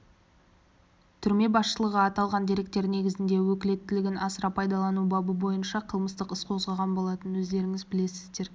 түрме басшылығы аталған дерек негізінде өкілеттігін асыра пайдалану бабы бойынша қылмыстық іс қозғаған болатын өздеріңіз білесіздер